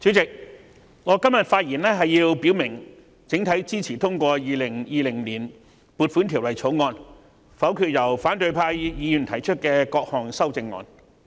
主席，我今天發言表明，我整體上支持通過《2020年撥款條例草案》，並會否決反對派議員提出的各項修正案。